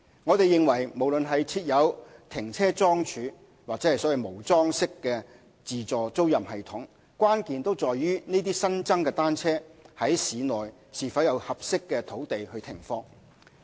我們認為無論是設有停車樁柱或無樁式的自助租賃系統，關鍵都在於這些新增的單車在市內是否有合適的土地停放。